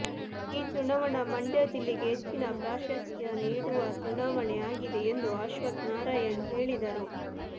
ಈ ಚುನಾವಣಾ ಮಂಡ್ಯ ಜಿಲ್ಲೆ ಗೆ ಹೆಚ್ಚಿನ ಪ್ರಾಶಸ್ತ್ಯ ನೀಡುವ ಚುನಾವಣೆ ಆಗಿದೆ ಎಂದು ಅಶ್ವಥ್ ನಾರಾಯಣ್ ಹೇಳಿದರು